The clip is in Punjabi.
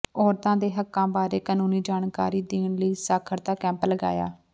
ਔਰਤਾਂ ਦੇ ਹੱਕਾਂ ਬਾਰੇ ਕਾਨੂੰਨੀ ਜਾਣਕਾਰੀ ਦੇਣ ਲਈ ਸਾਖਰਤਾ ਕੈਂਪ ਲਗਾਇਆ